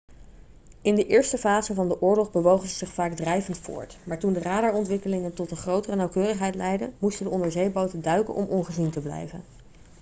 in de eerste fase van de oorlog bewogen ze zich vaak drijvend voort maar toen de radarontwikkelingen tot een grotere nauwkeurigheid leidden moesten de onderzeeboten duiken om ongezien te blijven